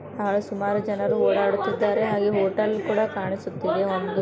ಬಹಳ ಸುಮಾರು ಜನರು ಓಡಾಡುತಿದ್ದಾರೆ. ಹಾಗೆ ಹೋಟೆಲ್ ಕೂಡ ಕಾಣಿಸುತ್ತಿದೆ ಒಂದು.